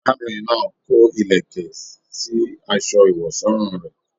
Arábìnrin náà kò ìlẹ̀kẹ̀ sí asọ ìwọ̀sọ́rùn rẹ.